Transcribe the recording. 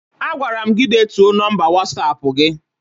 Agwara m gi deetuo nọmba Wọsapụ gi